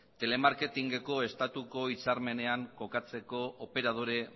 telemarketing eko estatuko hitzarmenean kokatzeko operadore